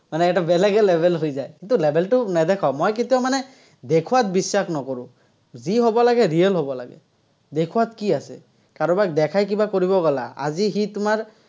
মানে এটা বেলেগে level হৈ যায়। কিন্তু, level টো নেদেখাও, মই কেতিয়াও মানে দেখুৱাত বিশ্বাস নকৰো। যি হ'ব লাগে, real হ'ব লাগে, দেখুৱাত কি আছে। কাৰোবাক দেখাই কিবা কৰিব গ'লা, আজি সি তোমাৰ